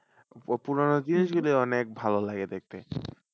ও পুরনো জিনিস গুলি অনেক ভালো লাগে দেখতে।